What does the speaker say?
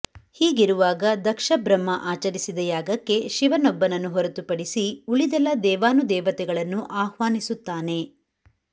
ಹೀಗಿರುವಾಗ ದಕ್ಷಬ್ರಹ್ಮ ಆಚರಿಸಿದ ಯಾಗಕ್ಕೆ ಶಿವನೊಬ್ಬನನ್ನು ಹೊರತುಪಡಿಸಿ ಉಳಿದೆಲ್ಲ ದೇವಾನುದೇವತೆಗಳನ್ನು ಆಹ್ವಾನಿಸುತ್ತಾನೆ